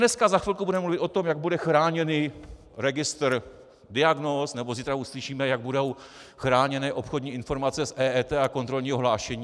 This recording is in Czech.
Dneska, za chvilku, budeme mluvit o tom, jak bude chráněný registr diagnóz, nebo zítra uslyšíme, jak budou chráněné obchodní informace z EET a kontrolního hlášení.